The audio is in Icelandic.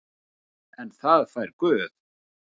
En það fær Guð.